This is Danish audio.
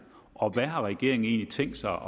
og hvad har regeringen egentlig tænkt sig